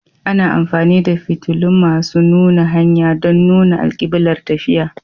Ana amfani da fitilun masu nuna hanya don nuna alkiblar tafiya.